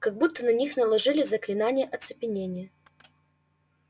как будто на них наложили заклинание оцепенения